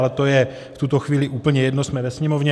Ale to je v tuto chvíli úplně jedno, jsme ve Sněmovně.